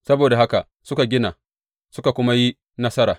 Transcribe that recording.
Saboda haka suka gina suka kuma yi nasara.